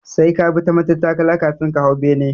Sai ka bi ta matattakalar kafin ka hau bene